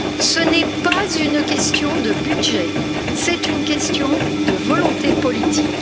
Ce n'est pas une question de budget, c'est une question de volonté politique.